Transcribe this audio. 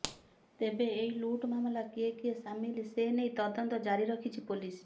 ତେବେ ଏହି ଲୁଟ୍ ମାମଲା କିଏ କିଏ ସାମିଲ ସେନେଇ ତଦନ୍ତ ଜାରି ରଖିଛି ପୋଲିସ